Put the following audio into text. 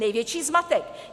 Největší zmatek.